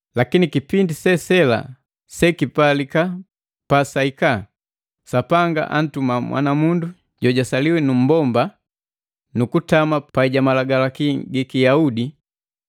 Lakini kipindi se sela sekipalika pasahika. Sapanga antuma mwanamundu jojasaliwa nu mmbomba, nukutama pai ja malagalaki giki Yahudi,